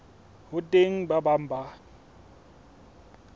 ho teng ba bang ba